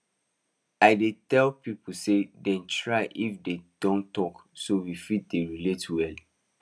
i dey tell people say dem try if dey don talk so we fit dey relate well